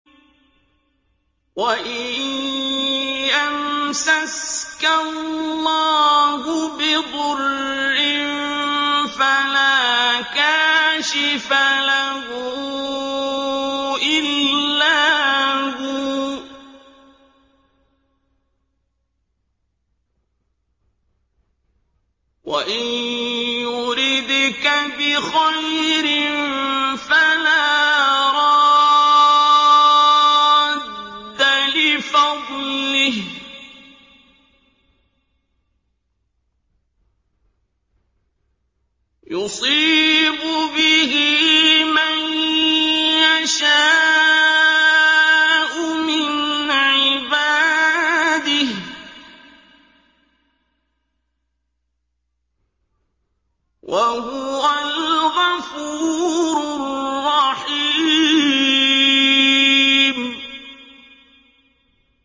وَإِن يَمْسَسْكَ اللَّهُ بِضُرٍّ فَلَا كَاشِفَ لَهُ إِلَّا هُوَ ۖ وَإِن يُرِدْكَ بِخَيْرٍ فَلَا رَادَّ لِفَضْلِهِ ۚ يُصِيبُ بِهِ مَن يَشَاءُ مِنْ عِبَادِهِ ۚ وَهُوَ الْغَفُورُ الرَّحِيمُ